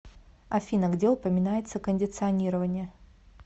афина где упоминается кондиционирование